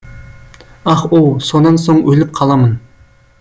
ах оу сонан соң өліп қаламын